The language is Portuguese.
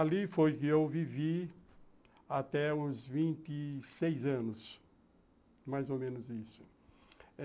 Ali foi que eu vivi até os vinte e seis anos, mais ou menos isso.